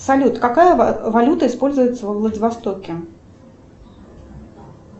салют какая валюта используется во владивостоке